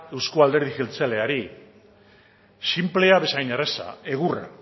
euzko alderdi jeltzaleari sinplea bezain erraza egurra